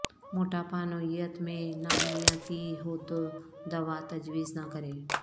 موٹاپا نوعیت میں نامیاتی ہو تو دوا تجویز نہ کریں